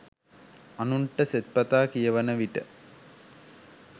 අනුන්ට සෙත්පතා කියවන විට